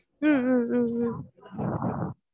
உம் உம் உம் உம்